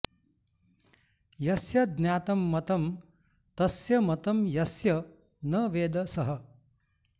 यस्य ज्ञातं मतं तस्य मतं यस्य न वेद सः